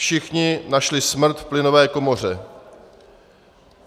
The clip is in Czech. Všichni našli smrt v plynové komoře.